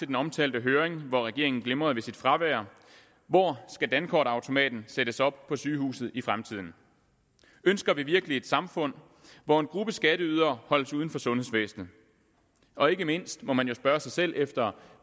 den omtalte høring hvor regeringen glimrede ved sit fravær hvor skal dankortautomaten sættes op på sygehuset i fremtiden ønsker vi virkelig et samfund hvor en gruppe skatteydere holdes uden for sundhedsvæsenet og ikke mindst må man spørge sig selv efter